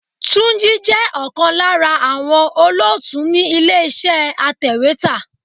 Túnjí jẹ́ ọ̀kan lára àwọn olóòtú ni ilé iṣẹ́ atèwétà.